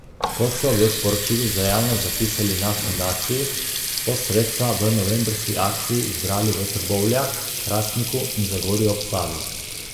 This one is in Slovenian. Kot so v sporočilu za javnost zapisali na fundaciji, so sredstva v novembrski akciji zbrali v Trbovljah, Hrastniku in Zagorju ob Savi.